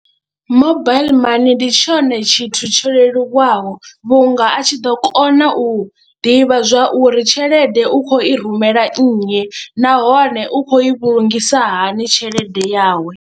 Mobaiḽi money ndi tshone tshithu tsho leluwaho vhunga a tshi ḓo kona u ḓivha zwa uri tshelede u khou i rumela nnyi nahone u khou i vhulungiswa hani tshelede yawe.